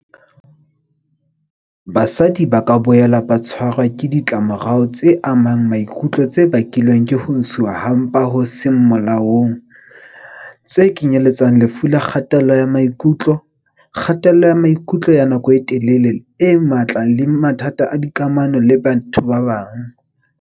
Basadi ba ka boela ba tshwarwa ke ditlamorao tse amang maikutlo tse bakilweng ke ho ntshuwa ha mpa ho seng molaong, tse kenyeletsang lefu la kgatello ya maikutlo, kgatello ya maikutlo ya nako e telele e matla le mathata a dikamano le batho ba bang.